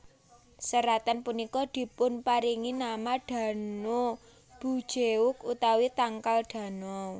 Seratan punika dipunparingi nama Dano bujeok utawi tangkal Dano